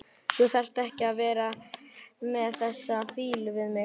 Þú þarft ekki að vera með þessa fýlu við mig.